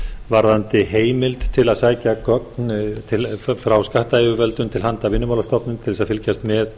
varðandi heimild til að sækja gögn frá skattyfirvöldum til handa vinnumálastofnun til þess að fylgjast með